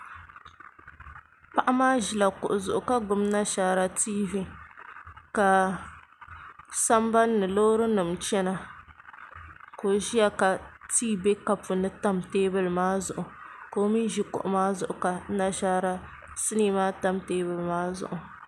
Paɣa maa ʒila kuɣu zuɣu ka gbubi nashaara tiivi ka sambanni loori nim chɛna ka o ʒiya ka tii bɛ kapu ni tam teebuli maa zuɣu ka o mii ʒi kuɣu maa zuɣu ka nashaara sinii maa tam teebuli maa zuɣu